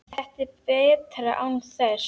Þetta er betra án þess.